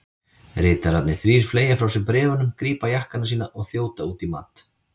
Ritararnir þrír fleygja frá sér bréfunum, grípa jakkana sína og þjóta út í mat.